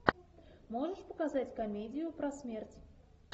можешь показать комедию про смерть